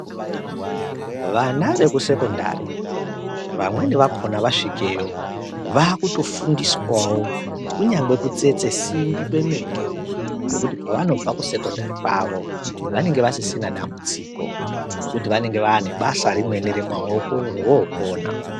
Vana vekusekondari vamweni vakhona vasvikeyo vakutofundiswawo kunyangwe kutsetse simbi kwemene nekuti pavanobve kusekondari kwavo vanenge vasisina dambudziko ngekuti vanenge vaane basa rimweni remaoko rovookona.